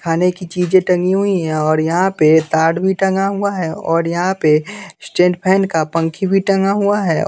खाने की चीजें टंगी हुई है और यहाँ पे तार भी टंगा हुआ है और यहाँ पे स्टेंट फैन का पंखी भी टंगा हुआ है औ --